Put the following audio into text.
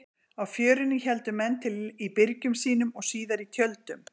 Á Fjörunni héldu menn til í byrgjum sínum og síðar í tjöldum.